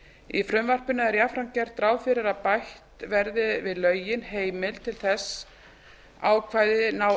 í frumvarpinu er jafnframt gert ráð fyrir að bætt verði við lögin heimild til að þessi ákvæði nái